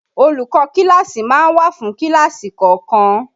Olùkọ́ kíláàsì máa ń wà fún kíláàsì kọ̀ọ̀kan